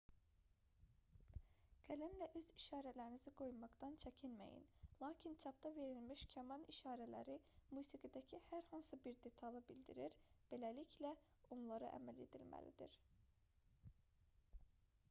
qələmlə öz işarələrinizi qoymaqdan çəkinməyin lakin çapda verilmiş kaman işarələri musiqidəki hər hansı bir detalı bildirir beləliklə onlara əməl edilməlidir